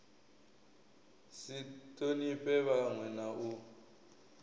si thonifhe vhanwe na u